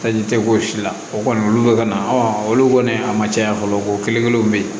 Taji tɛ k'o si la o kɔni olu bɛ ka na olu kɔni a ma caya fɔlɔ ko kelen-kelenw bɛ yen